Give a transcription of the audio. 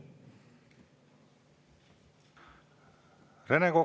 Rene Kokk.